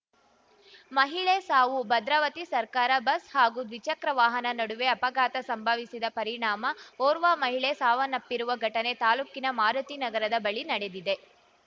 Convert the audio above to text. ಮಹಿಳೆ ಸಾವು ಭದ್ರಾವತಿ ಸರ್ಕಾರ ಬಸ್‌ ಹಾಗೂ ದ್ವಿಚಕ್ರ ವಾಹನ ನಡುವೆ ಅಪಘಾತ ಸಂಭವಿಸಿದ ಪರಿಣಾಮ ಓರ್ವ ಮಹಿಳೆ ಸಾವನ್ನಪ್ಪಿರುವ ಘಟನೆ ತಾಲೂಕಿನ ಮಾರುತಿ ನಗರದ ಬಳಿ ನಡೆದಿದೆ